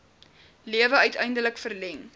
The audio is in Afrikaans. lewe uiteindelik verleng